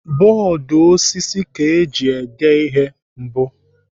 Bọọdụ osisi ka eji dee ihe mbụ.